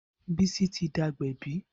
Bisi ti di agbẹ̀bí